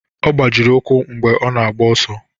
Ọ gbajiri ụkwụ mgbe ọ na-agba ọsọ